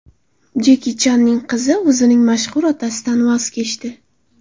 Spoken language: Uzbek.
Jeki Channing qizi o‘zining mashhur otasidan voz kechdi.